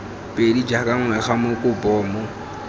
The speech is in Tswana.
pedi jaaka ngwega moko bomo